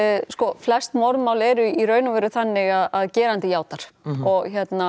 flest morðmál eru í raun og veru þannig að gerandi játar og